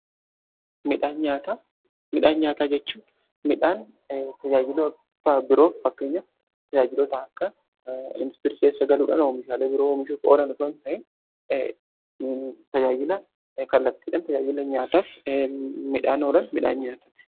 Midhaan nyaataa jechuun midhaan tajaajilota biroof fakkeenyaf tajaajilota akka indaastirii keessa galuudhan meeshaalee biroo oomishuuf oolan osooo ta'in tajaajila kallattiidhan tajaajila nyaataaf midhaan oolan midhaan nyaataati.